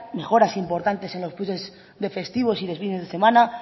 mejoras importantes en los pluses de festivos y fines de semanas